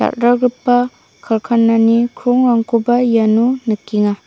dal·dalgipa karkanani krongrangkoba iano nikenga.